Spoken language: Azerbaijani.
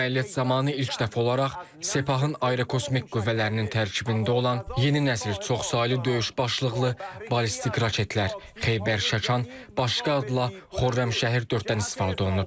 Bu əməliyyat zamanı ilk dəfə olaraq Sepahın aerokosmik qüvvələrinin tərkibində olan yeni nəsil çoxsaylı döyüş başlıqlı ballistik raketlər, Xeybər Şəkan, başqa adla Xürrəmşəhr 4-dən istifadə olunub.